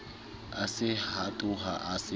a se hatoha a se